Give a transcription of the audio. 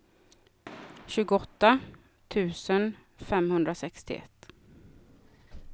tjugoåtta tusen femhundrasextioett